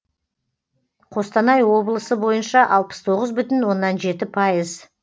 қостанай облысы бойынша алпыс тоғыз бүтін оннан жеті пайыз